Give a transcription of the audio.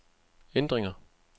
ændringer